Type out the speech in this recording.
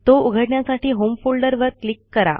तो उघडण्यासाठी होम फोल्डरवर क्लिक करा